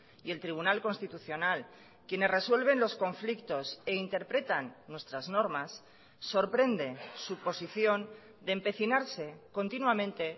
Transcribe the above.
y el tribunal constitucional quienes resuelven los conflictos e interpretan nuestras normas sorprende su posición de empecinarse continuamente